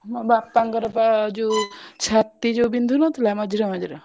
ମୋ ବାପାଙ୍କ ର ବା ଯଉ ଛାତି ଯଉ ବିନ୍ଧୁ ନଥିଲା ମଝିରେ ମଝିରେ।